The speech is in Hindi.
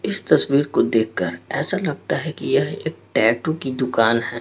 इस तस्वीर को देख कर ऐसा लगता हैं कि यह एक टैटू की दुकान हैं।